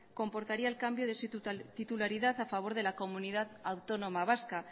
comportaría el cambio de su titularidad a favor de la comunidad autónoma vasca